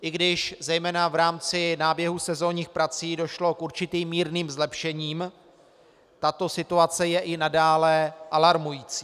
I když zejména v rámci náběhu sezónních prací došlo k určitým mírným zlepšením, tato situace je i nadále alarmující.